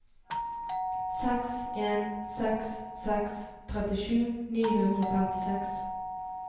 seks en seks seks trettisju ni hundre og femtiseks